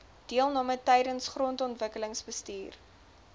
deelname tydens grondontwikkelingsbestuur